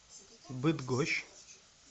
быдгощ